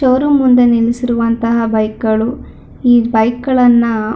show room ಮುಂದೆ ನಿಲ್ಲಿಸಿರುವಂತ bike ಗಳು ಈ ಬೈಕ್ ಗಳನ್ನ--